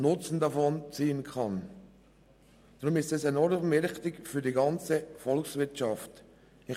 Deshalb ist diese Fachschule für die ganze Volkswirtschaft wichtig.